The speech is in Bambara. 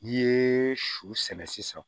N'i ye su sɛnɛ sisan